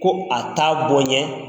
Ko a ta bɔ n ɲɛ